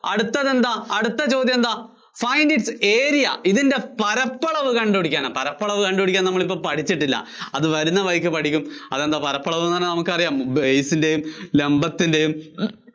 അടുത്തത്, അടുത്ത ചോദ്യം എന്താ? find its area ഇതിന്‍റെ പരപ്പളവ് കണ്ടുപിടിക്കാനാ. പരപ്പളവ് കണ്ടുപിടിക്കാന്‍ നമ്മളിപ്പോ പഠിച്ചിട്ടില്ല. അത് വരുന്ന വഴിക്ക് പഠിക്കും. അതുകൊണ്ട് പരപ്പളവെന്നു പറഞ്ഞാല്‍ നമുക്കറിയാം base ന്‍റെയും ലംബത്തിന്‍റെയും